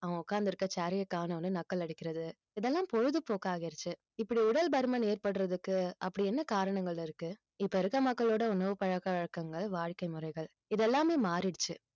அவன் உக்காந்திருக்க chair ஐயே காணோம்ன்னு நக்கல் அடிக்கிறது இதெல்லாம் பொழுதுபோக்காகிடுச்சு இப்படி உடல் பருமன் ஏற்படுறதுக்கு அப்படி என்ன காரணங்கள் இருக்கு இப்ப இருக்கிற மக்களோட உணவு பழக்க வழக்கங்கள் வாழ்க்கை முறைகள் இதெல்லாமே மாறிடுச்சு